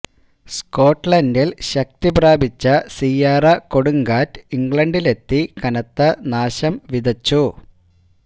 സ്കോട്ട്ലന്ഡില് ശക്തി പ്രാപിച്ച സിയാറ കൊടുങ്കാറ്റ് ഇംഗ്ലണ്ടിലെത്തി കനത്ത നാശം വിതച്ചു